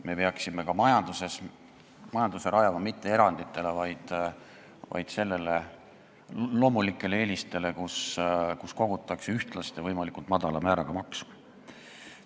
Me peaksime majanduse rajama mitte eranditele, vaid loomulikele eelistele, nii et kogutakse ühtlast ja võimalikult madala määraga maksu.